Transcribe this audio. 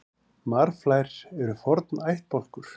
Marflær eru forn ættbálkur.